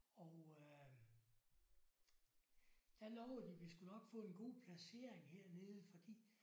Og øh der lovede de vi skulle nok få en god placering hernede fordi